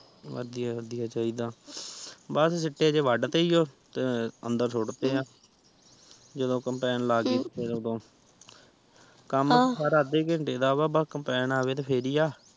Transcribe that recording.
ਵਧੀਆ ਵਡਿਊਯਾ ਚਾਹੀਦਾ ਬਸ ਸਿੱਟੇ ਜੇ ਵੱਧ ਤੇ ਸੀ ਜੋ ਅੰਦਰ ਸੁੱਟ ਤੇ ਆ ਜਦੋ ਕੰਪੈਨ ਲੈ ਟੀ ਫੇਰ ਓ ਕਾਮ ਤਾ ਸਾਰਾ ਅੱਧੇ ਘੰਟੇ ਦਾਸ ਏ ਆ ਬਸ ਵਕੰਪੈਨ ਆਵੇ ਤੇ ਫੇਰ ਹੀ ਆ